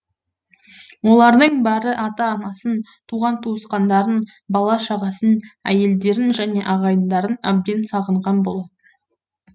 олардың бәрі ата анасын туған туысқандарын бала шағасын әйелдерін және ағайындарын әбден сағынған бол